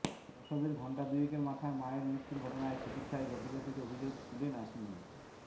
প্রসবের ঘণ্টা দুয়েকের মাথায় মায়ের মৃত্যুর ঘটনায় চিকিৎসায় গাফিলতির অভিযোগ তুলে নার্সিংহোমে